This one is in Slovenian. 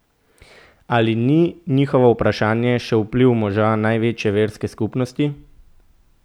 Ali ni njihovo upanje še vpliv moža največje verske skupnosti?